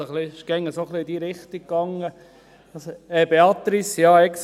Er ging immer etwa in diese Richtung.